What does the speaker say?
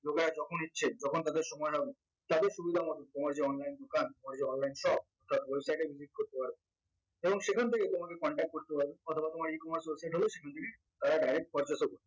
লোকেরা যখন ইচ্ছে যখন তাদের সময় হবে তাদের সুবিধা মত তোমার যে online দোকান তোমার যে online shop তার website এ visit করতে পারবে এবং সেখান থেকে তোমাকে contact করতে পারবে অথবা তোমার ecommerce website হলে সেখান থেকে তারা direct purchase ও করবে